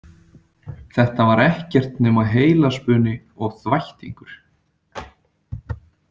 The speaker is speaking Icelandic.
Þetta var ekkert nema heilaspuni og þvættingur.